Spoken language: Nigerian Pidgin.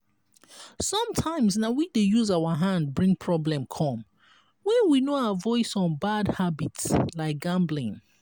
sometimes na we dey use our hand bring problem come when we no avoid some bad habits like gambling